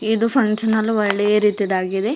ಇದು function hall ಒಳ್ಳೆಯ ರೀತಿದಾಗಿದೆ.